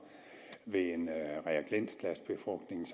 ved en reagensglasbefrugtning